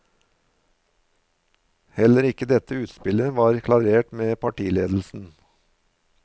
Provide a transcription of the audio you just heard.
Heller ikke dette utspillet var klarert med partiledelsen.